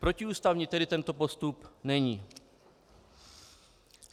Protiústavní tedy tento postup není.